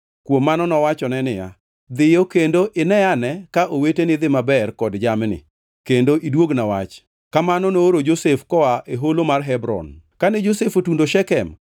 Kuom mano nowachone niya, “Dhiyo kendo ineane ka oweteni dhi maber kod jamni, kendo iduogna wach.” Kamano nooro Josef koa e Holo mar Hebron. Kane Josef otundo Shekem,